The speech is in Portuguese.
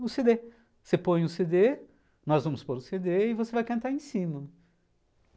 No cê dê, você põe o cê dê, nós vamos pôr o cê dê e você vai cantar em cima.